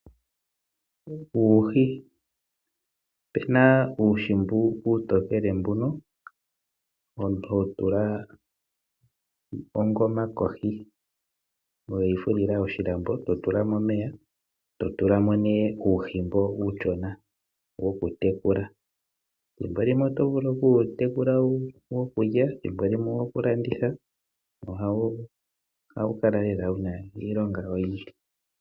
Uuhi Opu na uuhi uutokele mbono omuntu ho tula ongoma kohi we yi fulila oshilambo e to tula mo omeya, opo nee to tula mo uuhi mboka uushona wokutekula. Ethimbo limwe oto vulu oku wu tekula wokulya, thimbo limwe owo ku landitha. Ohawu kala lela wu na iilonga oyindji.